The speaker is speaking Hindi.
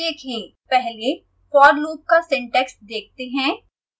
पहले for loop का सिंटैक्स देखते हैं